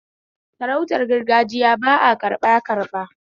Sarautar gargagiya ba a karɓa karɓa